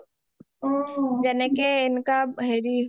যেনেকে income হেৰি